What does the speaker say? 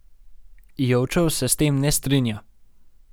Jovčev se s tem ne strinja.